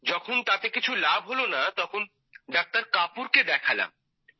যখন তাতে কিছু লাভ হল না তখন ডাক্তার কাপুর কে দেখালাম